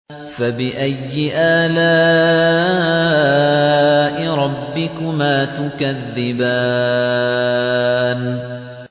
فَبِأَيِّ آلَاءِ رَبِّكُمَا تُكَذِّبَانِ